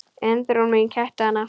Undrun mín kætti hana.